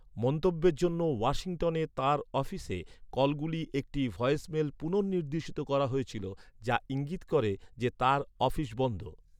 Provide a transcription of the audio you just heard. মন্তব্যের জন্য ওয়াশিংটনে তাঁর অফিসে কলগুলি একটি ভয়েসমেলে পুনঃনির্দেশিত করা হয়েছিল, যা ইঙ্গিত করে যে তাঁর 'অফিস বন্ধ'।